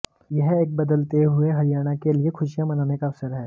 यह एक बदलते हुए हरियाणा के लिए खुशियां मनाने का अवसर है